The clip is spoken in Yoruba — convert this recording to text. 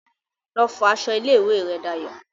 Lọ fọ aṣọ ilé ìwé rẹ Dayọ̀